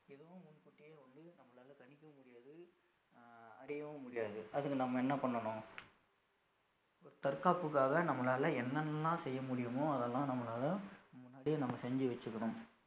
இதுவும் முன் கூட்டியே வந்து நம்மளால கணிக்கவும் முடியாது அஹ் அடையவும் முடியாது அதுக்கு நம்ம என்ன பண்ணணும் ஒரு தற்காப்புக்காக நம்மளால என்ன எல்லாம் செய்ய முடியுமோ அதெல்லாம் நம்மளால முன்னாடியே நம்ம செஞ்சு வச்சுக்கணும்